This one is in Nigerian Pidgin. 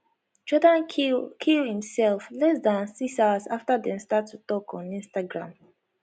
jordan kill kill imself less dan six hours after dem start to tok on instagram